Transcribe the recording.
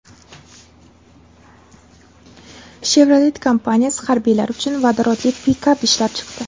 Chevrolet kompaniyasi harbiylar uchun vodorodli pikap ishlab chiqdi.